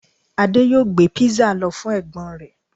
Ade yoo gbé pizza lọ fún ẹ̀gbọ́n rẹ̀